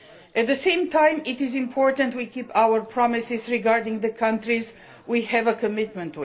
At the same time, it is important that we keep our promises regarding the countries to which we have a commitment.